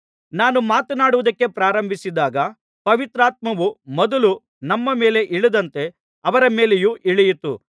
ನಾನು ಮಾತನಾಡುವುದಕ್ಕೆ ಪ್ರಾರಂಭಿಸಿದಾಗ ಪವಿತ್ರಾತ್ಮವು ಮೊದಲು ನಮ್ಮ ಮೇಲೆ ಇಳಿದಂತೆ ಅವರ ಮೇಲೆಯೂ ಇಳಿಯಿತು